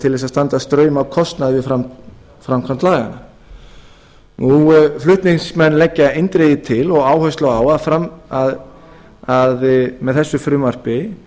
til að standa straum af kostnaði við framkvæmd laganna flutningsmenn leggja eindregið til og áherslu á að með þessu frumvarpi